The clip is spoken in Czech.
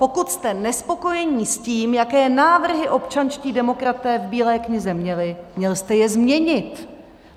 Pokud jste nespokojení s tím, jaké návrhy občanští demokraté v Bílé knize měli, měl jste je změnit.